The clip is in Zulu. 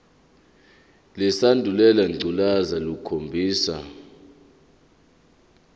lesandulela ngculazi lukhombisa